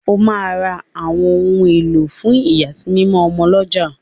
O ma rà ọwọn òun elo fún iyasimimo ọmọ l'ọja